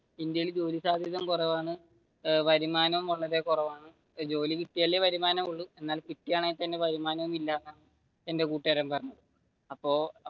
ഇന്ത്യയിൽ ജോലി സാധ്യത കുറവാണ് വരുമാനം വളരെ കുറവാണ്, ജോലി കിട്ടിയാലേ വരുമാനം ഉള്ളു എന്നാൽ കിട്ടുവാണെങ്കിൽ തന്നെ വരുമാനം ഇല്ല എന്റെ കൂട്ടുകാരൻ പറഞ്ഞു അപ്പൊ